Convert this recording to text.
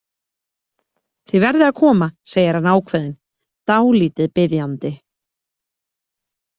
Þið verðið að koma, segir hann ákveðinn, dálítið biðjandi.